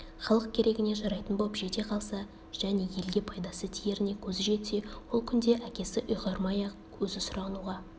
халық керегіне жарайтын боп жете қалса және елге пайдасы тиеріне көзі жетсе ол күнде әкесі ұйғармай-ақ өзі сұрануға